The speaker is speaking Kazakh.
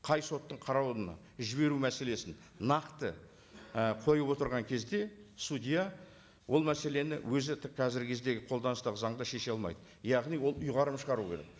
қай соттың қарауына жіберу мәселесін нақты і қойып отырған кезде судья ол мәселені өзі қазіргі кездегі қолданыстағы заңда шеше алмайды яғни ол ұйғарым шығару керек